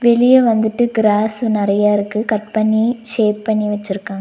வெளிய வந்துட்டு கிராஸு நெறைய இருக்கு கட் பண்ணி ஷேப் பண்ணி வெச்சிருக்காங்.